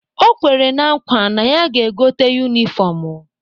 O kwere na nkwa na ya ga-egote yunifọmụ